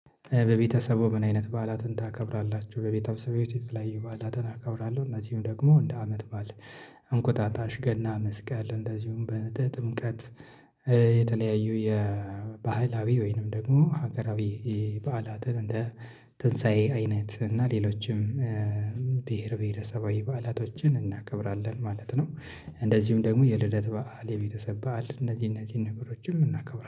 በቤተሰቡ ምን አይነት በዓላትን ታከብራላችሁ? በቤተሰቡ ቤት ላይ በዓላትን አከብራለሁ እነዚህም ደግሞ እንደ አመት ባል እንቁጣጣሽ ገና መስቀል እንደዚሁም በጥምቀት የተለያዩ የባህላዊ ወይንም ደግሞ ሀገራዊ በዓላትን እንደ ትንሳኤ አይነት እና ሌሎችም ብሄረሰባዊ በዓላቶችን እናቀብራለን ማለት ነው። እንደዚሁም ደግሞ የልደት በዓል የቤተሰብ በዓል እነዚህ እነዚህ ነገሮችን እናከብራለን